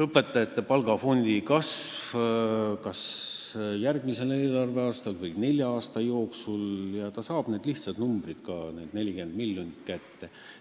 õpetajate palgafondi kasv kas järgmisel eelarveaastal või nelja aasta jooksul, siis ta saab need lihtsad numbrid, need 40 miljonit kätte.